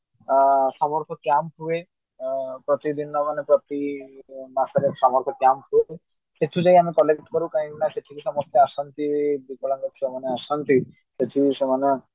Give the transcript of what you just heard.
ଆଁ summer camp ହୁଏ ପ୍ରତିଦିନ ମାନେ ପ୍ରତି ମାସରେ summer camp ହୁଏ ସେତୁ ଯାଇ ଆମେ collect କରୁ କାହିଁକି ନା ସେଠିକି ସମସ୍ତେ ଆସନ୍ତି ବିକଳାଙ୍ଗ ଛୁଆମାନେ ଆସନ୍ତି ଶେଠୀ ସେମାନେ